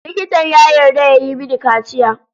Likitan ya yarda ya yi mini kaciya.